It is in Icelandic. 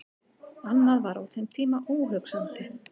Annað var á þeim tíma óhugsandi.